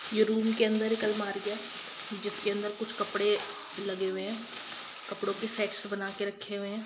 यह रूम के अंदर एक अलमारी है जिसके अंदर कुछ कपड़े लगे हुए हैं कपड़ों के सेट से बना कर रखे हुए हैं।